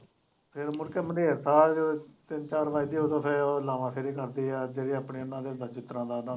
ਖਾ ਕੇ ਤਿੰਨ ਚਾਰ ਵੱਜਦੇ ਹੈ ਉਦੋਂ ਫਿਰ ਲਾਂਵਾ ਸੁਰੂ ਕਰਦੇ ਹੈ ਜਿਹੜੇ ਆਪਣੇ ਉਹਨਾਂ ਦੇ ਵਿਚਿਤਰਾਂ ਦਾ ਉਹਨਾਂ ਦਾ